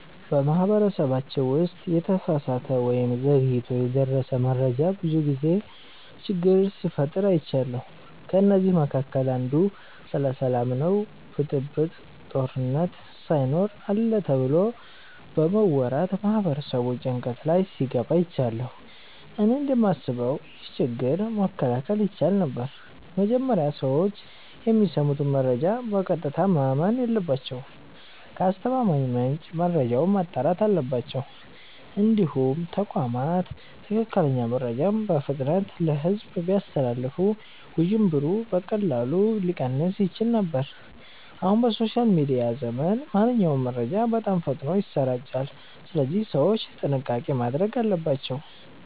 በማህበረሰባችን ውስጥ የተሳሳተ ወይም ዘግይቶ የደረሰ መረጃ ብዙ ጊዜ ችግር ሲፈጥር አይቻለሁ። ከእነዚህ መካከል አንዱ ስለ ሰላም ነው ብጥብጥ፣ ጦርነት ሳይኖር አለ ተብሎ በመወራት ማህበረሰቡ ጭንቀት ላይ ሲገባ አይቻለሁ። እኔ እንደማስበው ይህ ችግር መከላከል ይቻል ነበር። መጀመሪያ ሰዎች የሚሰሙትን መረጃ በቀጥታ ማመን የለባቸውም። ከአስተማማኝ ምንጭ መረጃውን ማጣራት አለባቸው። እንዲሁም ተቋማት ትክክለኛ መረጃን በፍጥነት ለሕዝብ ቢያስተላልፉ ውዥንብሩ በቀላሉ ሊቀንስ ይችል ነበር። አሁን በሶሻል ሚዲያ ዘመን ማንኛውም መረጃ በጣም ፈጥኖ ይሰራጫል፣ ስለዚህ ሰዎች ጥንቃቄ ማድረግ አለባቸው።